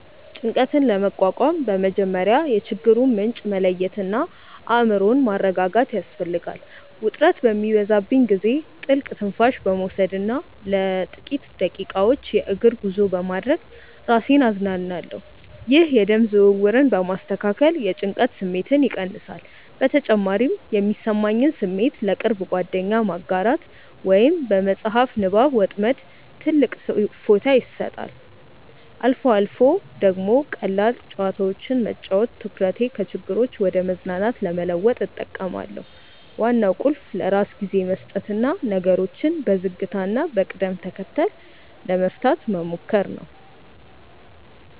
ጭንቀትን ለመቋቋም በመጀመሪያ የችግሩን ምንጭ መለየትና አእምሮን ማረጋጋት ያስፈልጋል። ውጥረት በሚበዛብኝ ጊዜ ጥልቅ ትንፋሽ በመውሰድና ለጥቂት ደቂቃዎች የእግር ጉዞ በማድረግ ራሴን አዝናናለሁ። ይህ የደም ዝውውርን በማስተካከል የጭንቀት ስሜትን ይቀንሳል። በተጨማሪም የሚሰማኝን ስሜት ለቅርብ ጓደኛ ማጋራት ወይም በመጽሐፍ ንባብ መጥመድ ትልቅ እፎይታ ይሰጣል። አልፎ አልፎ ደግሞ ቀላል ጨዋታዎችን መጫወት ትኩረቴን ከችግሮች ወደ መዝናናት ለመለወጥ እጠቀማለሁ። ዋናው ቁልፍ ለራስ ጊዜ መስጠትና ነገሮችን በዝግታና በቅደም ተከተል ለመፍታት መሞከር ነው።